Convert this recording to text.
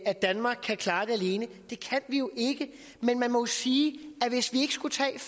at danmark kan klare det alene det kan vi jo ikke men man må sige at hvis vi ikke skulle tage